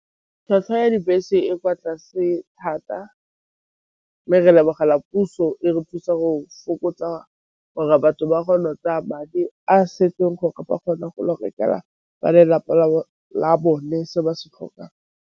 Tlhwatlhwa ya dibese e kwa tlase thata, mme re lebogela puso e re thusa go fokotsa gore batho ba go kgona go tsaya madi a setseng gore ba kgone go ya go rekela ba lelapa la la bone se ba se tlhokang.